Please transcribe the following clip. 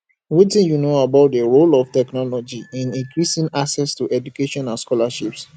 wetin you know about di role of technology in increasing access to education and scholarships